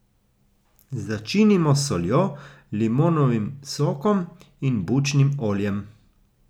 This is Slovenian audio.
Začinimo s soljo, limonovim sokom in bučnim oljem.